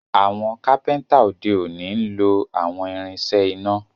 Àwọn kápẹ́ńtà òde òni nlọ àwọn irinṣẹ́ iná